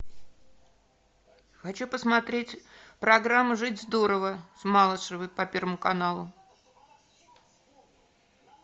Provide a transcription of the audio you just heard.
хочу посмотреть программу жить здорово с малышевой по первому каналу